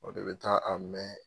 O de bɛ taa a mɛn.